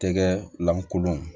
Tɛgɛ lankolon